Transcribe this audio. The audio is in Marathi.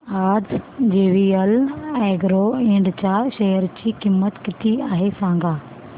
आज जेवीएल अॅग्रो इंड च्या शेअर ची किंमत किती आहे सांगा